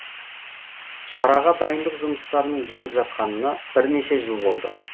шараға дайындық жұмыстарының жүріп жатқанына бірнеше жыл болды